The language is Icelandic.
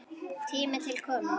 Tími til kominn.